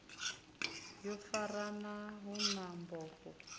yo farana hu na bono